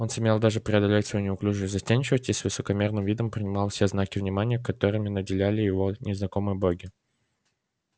он сумел даже преодолеть свою неуклюжую застенчивость и с высокомерным видом принимал все знаки внимания которыми наделяли его незнакомые боги